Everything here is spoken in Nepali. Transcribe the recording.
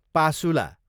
पासुला